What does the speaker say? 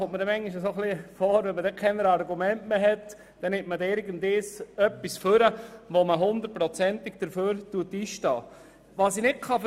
Ich habe oft den Eindruck, dass man, wenn man keine Argumente mehr hat, irgendetwas vorbringt, wofür man zu 100 Prozent einstehen kann.